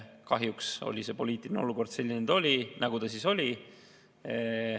Kahjuks oli poliitiline olukord selline, nagu ta oli.